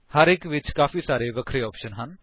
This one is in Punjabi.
ਹਰ ਇੱਕ ਵਿੱਚ ਕਈ ਸਾਰੇ ਵਖਰੇ ਆਪਸ਼ਨਸ ਹਨ